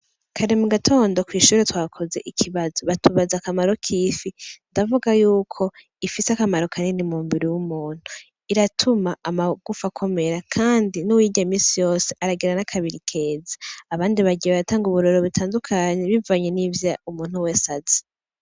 Kare mu gatondo kw'ishure twakoze ikibazo batubaza akamaro k'ifi, ndavuga yuko ifise akamaro kanini mu mubiri w'umuntu. Iratuma amagufa akomera kandi n'uwuyirya misi yose aragira n'akabiri keza. Abandi bagiye baratanga ubororero butandukanye bivanye nivyo umwe wese azi.